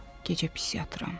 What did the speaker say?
Gecə pis yatıram.